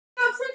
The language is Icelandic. hugsaði hún.